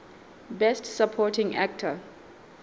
best supporting actor